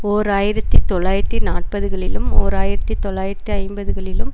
ஓர் ஆயிரத்தி தொள்ளாயிரத்தி நாற்பதுகளிலும் ஓர் ஆயிரத்தி தொள்ளாயிரத்தி ஐம்பதுகளிலும்